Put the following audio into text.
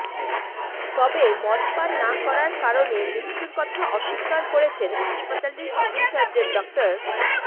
তবে মদ পান না করার কারণে মৃত্যুর কথা অস্বীকার করেছেন হাসপাতালটির সিভিল সার্জন ডা